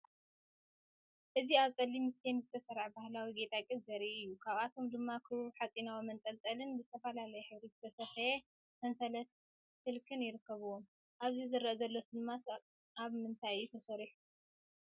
እዚ ኣብ ጸሊም ስቴንድ ዝተሰርዐ ባህላዊ ጌጣጌጥ ዘርኢ እዩ። ካብኣቶም ድማ ክቡብ ሓጺናዊ መንጠልጠልን ብዝተፈላለየ ሕብሪ ዝተሰፍየ ሰንሰለት ስልክን ይርከብዎም። ኣብዚ ዝረአ ዘሎ ስልማት ካብ ምንታይ እዩ ተሰሪሑ?